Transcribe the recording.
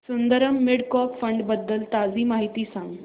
Sundaram mid cap fund बद्दल ताजी माहिती सांग